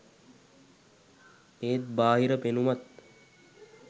ඒත් බාහිර පෙනුමත්